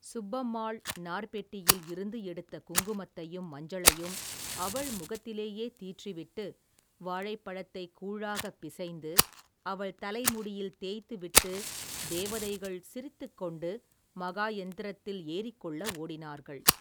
சுப்பம்மாள் நார்ப்பெட்டியில் இருந்து எடுத்த குங்குமத்தையும், மஞ்சளையும் அவள் முகத்திலேயே தீற்றி விட்டு, வாழைப்பழத்தைக் கூழாகப் பிசைந்து, அவள் தலைமுடியில் தேய்த்து விட்டுத் தேவதைகள், சிரித்துக்கொண்டு மகாயந்திரத்தில் ஏறிக்கொள்ள ஓடினார்கள்.